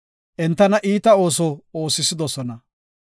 Entana iita ooso oosisidosona.